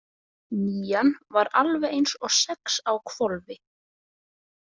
Nían var alveg eins og sex á hvolfi.